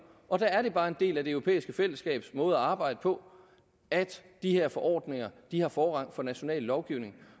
og der er det bare en del af det europæiske fællesskabs måde at arbejde på at de her forordninger har forrang for national lovgivning